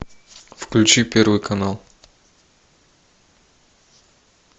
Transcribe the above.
включи первый канал